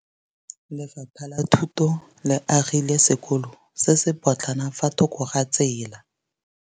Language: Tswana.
Lefapha la Thuto le agile sekôlô se se pôtlana fa thoko ga tsela.